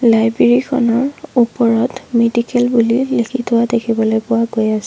library খনৰ ওপৰত medical বুলি লিখি থোৱা দেখিবলৈ পোৱা গৈ আছ--